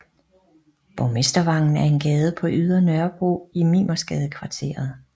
Borgmestervangen er en gade på Ydre Nørrebro i Mimersgadekvarteret